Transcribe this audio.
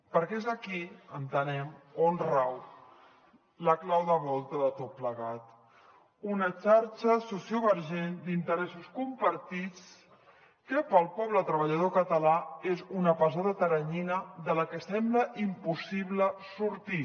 perquè és aquí entenem on rau la clau de volta de tot plegat una xarxa sociovergent d’interessos compartits que per al poble treballador català és una pesada teranyina de la que sembla impossible sortir